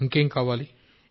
ఇంకేం కావాలి